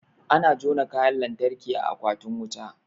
Ana jona Kayan lantarki a akwatin wuta